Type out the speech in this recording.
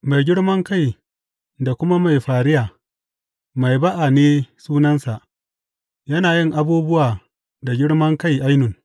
Mai girmankai da kuma mai fariya, Mai ba’a ne sunansa; yana yin abubuwa da girmankai ainun.